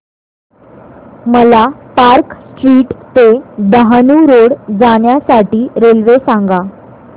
मला park street ते Dahanu road जाण्या साठी रेल्वे सांगा